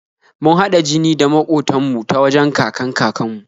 Mun haɗa jini da maƙotan mu ta wajen kakan-kakan mu